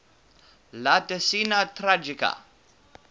la decena tragica